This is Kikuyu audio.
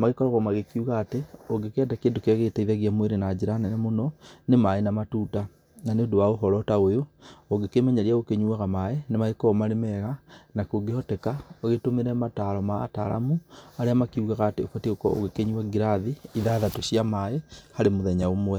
magĩkoragwo magĩkiuga atĩ, ũngĩkĩeda kĩndũ kĩrĩa gĩgĩteithagia mwĩrĩ na njĩra nene mũno, nĩ maĩ na matunda. Na nĩ ũndũ wa ũhoro ta ũyũ, ũngĩkĩmenyeria gũkĩnyuaga maĩ, ni magĩkoragwo marĩ mega na kũngĩhoteka ũgĩtũmĩre mataro ma ataramu, arĩa makĩugaga atĩ ũbatiĩ gũkorwo ũgĩkĩnyua ngirathi ithathatũ cia maĩ harĩ mũthenya ũmwe.